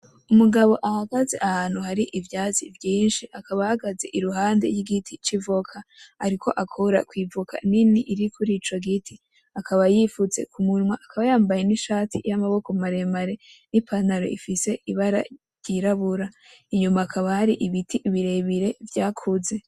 Umugabo ahagaze ahantu hari ivyatsi vyinshi, akaba ahagaze iruhande y'igiti c'ivoka, ariko akora kw'ivoka nini iri kurico giti, akaba yifutse k'umunwa akaba yambaye ishati y'amaboko maremare n'ipantaro ifise ibara ryirabura, inyuma hakaba hari ibiti birebire vyakuze.